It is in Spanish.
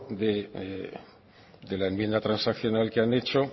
de la enmienda transaccional que han hecho